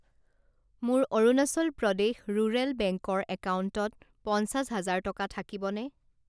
মোৰ Arunachal Pradesh rural bank ৰ একাউণ্টত পঞ্চাছ হাজাৰ টকা থাকিবনে?